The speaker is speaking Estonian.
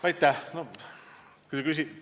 Aitäh!